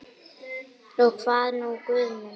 Og hvað nú Guð minn?